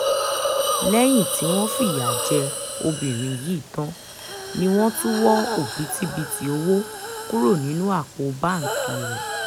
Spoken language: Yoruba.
lẹ́yìn tí wọ́n fìyà jẹ obìnrin yìí tán ni wọ́n tún wọ òbítíbitì owó kúrò nínú àpò báńkì rẹ̀